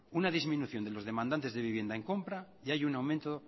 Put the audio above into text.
una disminución de los demandantes en compra y hay un aumento